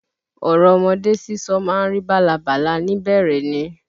Ọ̀rọ̀ ọmọdé sísọ ma ń rí bálabàla ni bẹ̀rẹ̀ ni.